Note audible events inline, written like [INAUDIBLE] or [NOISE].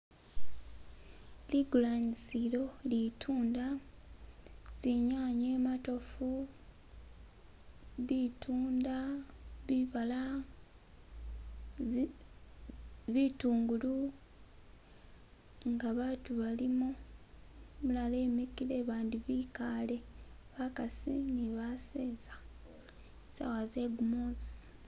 [SKIP] likulanisilo litunda tsinyanye matofu bitunda bibala bitungulu ngabatu balimo umulala imikile bandi bikale bakasi nibaseza sawa zegumusi